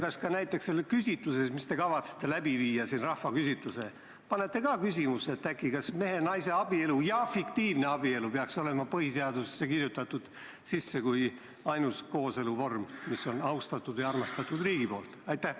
Kas ka näiteks sellesse rahvaküsitlusse, mis te kavatsete teha, panete küsimuse: kas mehe ja naise abielu ning fiktiivabielu peaks olema põhiseadusesse kirjutatud sisse kui ainus kooseluvorm, mis on riigi poolt austatud ja armastatud?